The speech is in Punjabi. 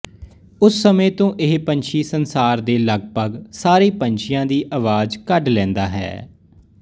ਉਸ ਸਮੇਂ ਤੋਂ ਇਹ ਪੰਛੀ ਸੰਸਾਰ ਦੇ ਲਗਭਗ ਸਾਰੇ ਪੰਛੀਆਂ ਦੀ ਅਵਾਜ ਕੱਢ ਲੈਂਦਾ ਹੈ